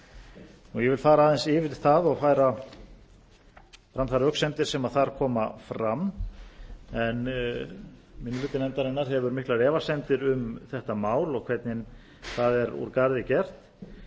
ég vil fara aðeins yfir það og færa fram þær röksemdir sem þar koma fram minni hluti nefndarinnar hefur miklar efasemdir um þetta mál og hvernig það er úr garði gert